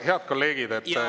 Head kolleegid …